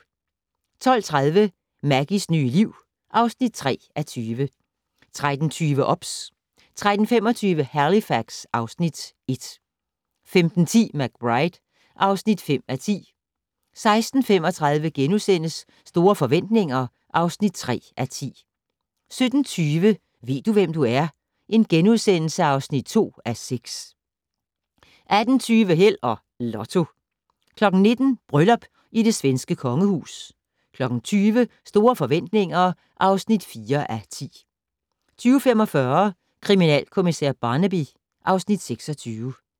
12:30: Maggies nye liv (3:20) 13:20: OBS 13:25: Halifax (Afs. 1) 15:10: McBride (5:10) 16:35: Store forretninger (3:10)* 17:20: Ved du, hvem du er? (2:6)* 18:20: Held og Lotto 19:00: Bryllup i det svenske kongehus 20:00: Store forretninger (4:10) 20:45: Kriminalkommissær Barnaby (Afs. 26)